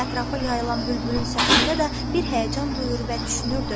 Ətrafa yayılan bülbülün səsində də bir həyəcan duyur və düşünürdü.